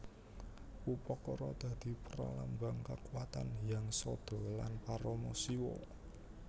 Upakara dadi pralambang kakuwatan Hyang Sadha lan Parama Siwa